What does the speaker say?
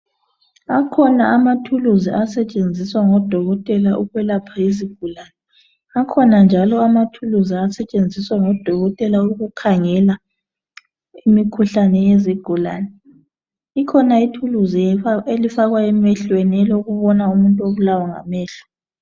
Akhona amathuluzi asetshenziswa ngodokotela ukwelapha izigulane. Akhona njalo amathuluzi asetshenziswa ngodokotela ukukhangela imikhuhlane yezigulane. Ikhona ithuluzi elifakwa emehlweni elokubona umuntu obulawa ngamehlo.